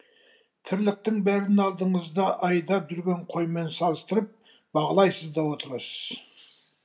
тірліктің бәрін алдыңызда айдап жүрген қоймен салыстырып бағалайсыз да отырасыз